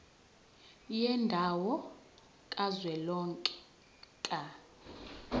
yendawo kazwelonke ka